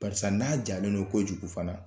Barisa n'a jalen don kojugu fana